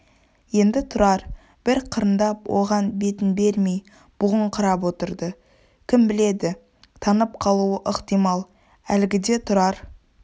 енді тұрар бір қырындап оған бетін бермей бұғыңқырап отырды кім біледі танып қалуы ықтимал әлгіде тұрар